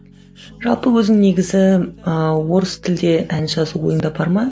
жалпы өзің негізі ы орыс тілде ән жазу ойыңда бар ма